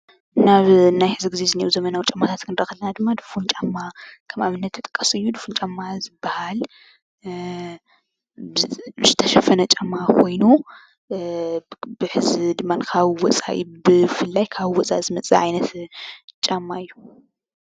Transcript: ናብ ናይ ሕዚ ዝኒአዉ ዘመናዊ ጫማታት ክንርኢ ከለና ድማ ድፉን ጫማ ከም ኣብነት ይጥቀስ እዩ ፡፡ድፉን ጫማ ዝባሃል እ ብዝተሸፈነ ጫማ ኮይኑ እ በሕዚ ድማ ካብ ዎፃኢ ብፍላይ እካብ ዎፃኢዝመፅእ ዓይነት ጫማ እዩ፡፡